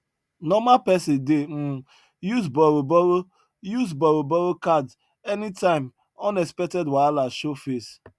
normal pesin dey um use borrow borrow use borrow borrow card anytime unexpected wahala show face